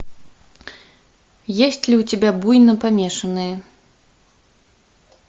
есть ли у тебя буйнопомешанные